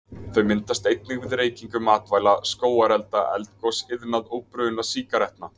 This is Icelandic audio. Þau myndast einnig við reykingu matvæla, skógarelda, eldgos, iðnað og bruna sígarettna.